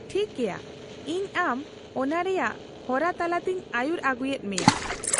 -ᱴᱷᱤᱠ ᱜᱮᱭᱟ, ᱤᱧ ᱟᱢ ᱚᱱᱟ ᱨᱮᱭᱟᱜ ᱦᱚᱨᱟ ᱛᱟᱞᱟᱛᱮᱧ ᱟᱹᱭᱩᱨ ᱟᱹᱜᱩᱭᱮᱫ ᱢᱮᱭᱟ ᱾